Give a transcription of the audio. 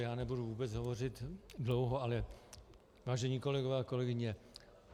Já nebudu vůbec hovořit dlouho, ale vážení kolegové a kolegyně.